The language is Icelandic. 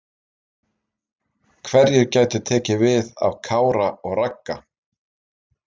Hverjir gætu tekið við af Kára og Ragga?